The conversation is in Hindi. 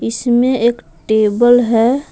इसमें एक टेबल है।